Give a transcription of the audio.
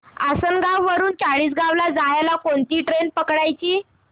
आसनगाव वरून चाळीसगाव ला जायला कोणती रेल्वे पकडायची